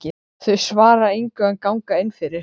Þau svara engu en ganga inn fyrir.